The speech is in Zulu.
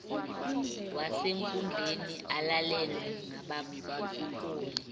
wasenkundleni alalelwe ngabaholi